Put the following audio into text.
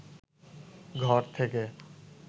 ঘর থেকে